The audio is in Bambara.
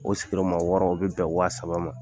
O sigi yɔrɔma wɔɔrɔ o bɛ bɛn waa saba ma.